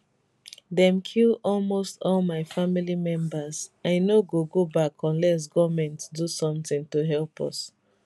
dem kill almost all my family members i no go go back unless goment do sometin to help us